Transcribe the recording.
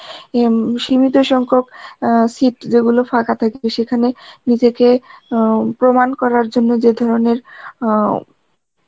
M সীমিত সংখ্যক অ্যাঁ seat যেগুলো ফাকা থাকবে সেখানে নিজেকে আম প্রমান করার জন্য যে ধরনের অ্যাঁ ও